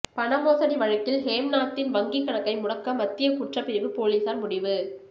பணமோசடி வழக்கில் ஹேம்நாத்தின் வங்கி கணக்கை முடக்க மத்திய குற்றப்பிரிவு போலீசார் முடிவு